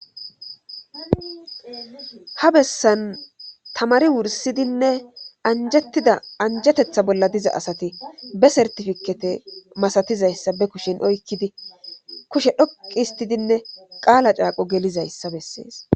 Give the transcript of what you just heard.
Ha bessan tamari wursidinne anjettida anjetetha bolla diza asati be sertifikete masatizayssa be kushin oykkidi kushe dhoqi histidinne qaala caaqo gelizayssa bessees.